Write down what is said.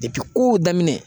depi kow daminɛ